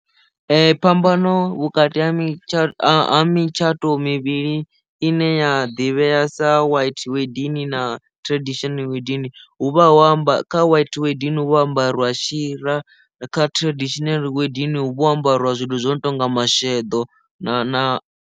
Phambano vhukati ha miṱa a mutshato mivhili i ne ya ḓivhea sa white wedding na tradition wedding hu vha ho amba kha white wedding hu vha ho ambariwa shira kha traditional wedding hu vha ho ambariwa zwithu zwo no tonga masheḓo na na.